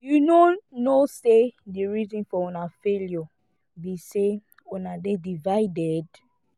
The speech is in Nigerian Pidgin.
you no know say the reason for una failure be say una dey divided